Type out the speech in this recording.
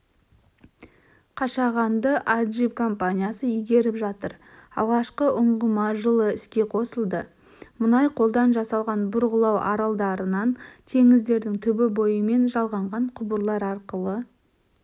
қашағанды аджип компаниясы игеріп жатыр алғашқы ұңғыма жылы іске қосылды мұнай қолдан жасалған бұрғылау аралдарынан теңіздің түбі бойымен жалғанған құбырлар арқылы